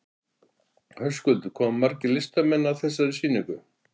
Höskuldur, koma margir listamenn að þessari sýningu?